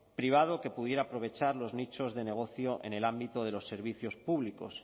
privado que pudiera aprovechar los nichos de negocio en el ámbito de los servicios públicos